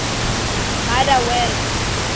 motherwell